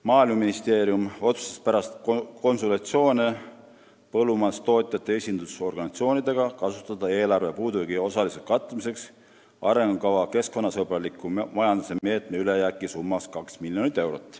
Maaeluministeerium otsustas pärast konsultatsioone põllumajandustootjate esindusorganisatsioonidega kasutada eelarve puudujäägi osaliseks katmiseks arengukava keskkonnasõbraliku majanduse meetme ülejääki summas 2 miljonit eurot.